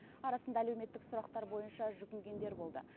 арасында әлеуметтік сұрақтар бойынша жүгінгендер болды